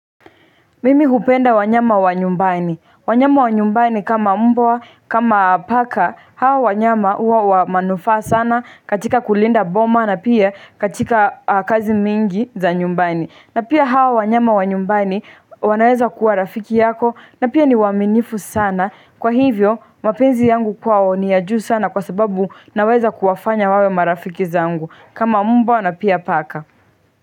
Mimi hupenda wanyama wanyumbani, wanyama wa nyumbani kama mbwa kama paka hawa wanyama huwa wa manufaa sana katika kulinda boma na pia katika kazi mingi za nyumbani. Na pia hao wanyama wa nyumbani wanaweza kuwa rafiki yako na pia ni waminifu sana kwa hivyo mapenzi yangu kwao ni ya juu sana kwa sababu naweza kuwafanya wawe marafiki zangu kama mbwa na pia paka.